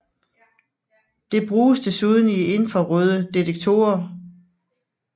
Det bruges desuden i infrarøde detektorer